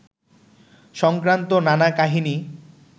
সংক্রান্ত নানা কাহিনি